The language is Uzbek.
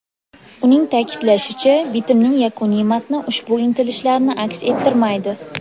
Uning ta’kidlashicha, bitimning yakuniy matni ushbu intilishlarni aks ettirmaydi.